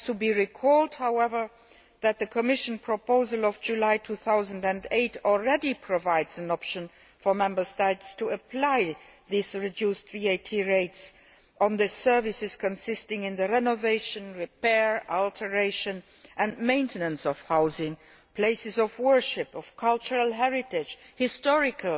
It should be pointed out, however, that the Commission proposal of July 2008 already provides an option for Member States to apply these reduced VAT rates on services involving the renovation, repair, alteration and maintenance of housing, places of worship and of cultural heritage, and historical